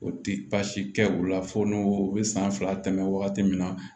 O ti basi kɛ o la fo n'o bɛ san fila tɛmɛ wagati min na